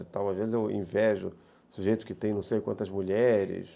Às vezes eu invejo sujeitos que têm não sei quantas mulheres...